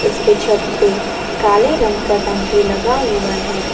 इसके छत पे काले रंग का टंकी लगा हुआ है।